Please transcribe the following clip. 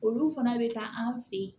Olu fana bɛ taa an fɛ yen